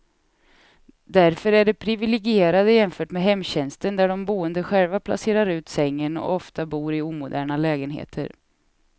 Därför är de priviligierade jämfört med hemtjänsten där de boende själv placerar ut sängen, och ofta bor i omoderna lägenheter.